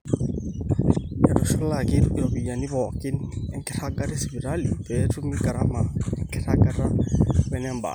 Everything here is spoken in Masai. eitushulaki iropiyiani pooki enkiragata esipitali pee etumi garama enkiragata wenebaata